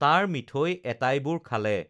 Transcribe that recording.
তাৰ মিঠৈ এটাইবোৰ খালে